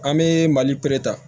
An bɛ mali ta